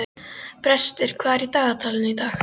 Brestir, hvað er í dagatalinu í dag?